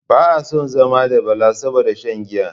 Baa son zama da Bala saboda shan giya